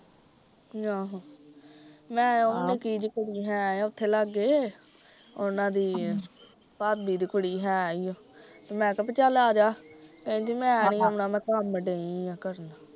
ਆਹੋ ਮੈ ਉਹ ਨਿੱਕੀ ਜਹੀ ਕੁੜੀ ਹੈ ਉਹਦੇ ਲਾਗੇ, ਉਹਨਾਂ ਦੀ ਭਾਬੀ ਦੀ ਕੁੜੀ ਹੀ ਹੈ ਈ ਓ ਤੇ ਮੈਂ ਕਿਹਾ ਵੀ ਚੱਲ ਆਜਾਂ, ਕਹਿੰਦੀ ਮੈਨੀ ਆਉਣਾ ਮੈਂ ਕੰਮ ਡਈ ਆ ਕਰਨ